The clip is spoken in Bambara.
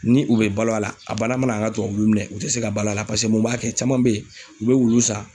Ni u bɛ balo a la a bana mana an ka tubabuwulu minɛn u tɛ se ka balo a la paseke mun b'a kɛ caman bɛ ye u bɛ wulu san